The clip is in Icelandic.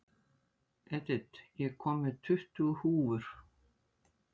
Edith, ég kom með tuttugu húfur!